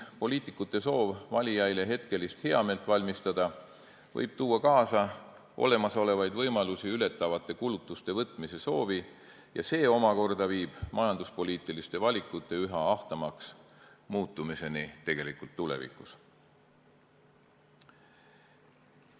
Poliitikute soov valijatele hetkelist heameelt valmistada võib tuua kaasa olemasolevaid võimalusi ületavate kulutuste võtmise soovi ja see omakorda viib majanduspoliitiliste valikute üha ahtamaks muutumiseni tulevikus.